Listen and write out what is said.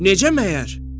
Necə məyər?